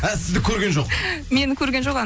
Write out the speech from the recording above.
а сізді көрген жоқ мені көрген жоқ